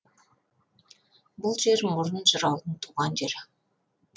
бұл жер мұрын жыраудың туған жері